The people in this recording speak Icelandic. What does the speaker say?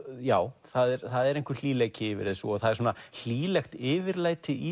já það er einhver yfir þessu og það er hlýlegt yfirlæti í